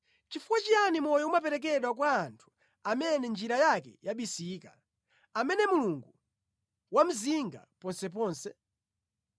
Chifuwa chiyani moyo umaperekedwa kwa munthu amene njira yake yabisika, amene Mulungu wamuzinga ponseponse?